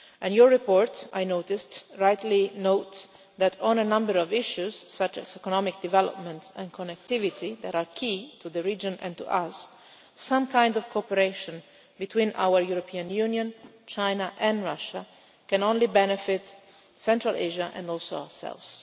Your report rightly notes that on a number of issues, such as economic development and connectivity, that are key to the region and to us, some kind of cooperation between our European Union, China and Russia can only benefit both Central Asia and ourselves.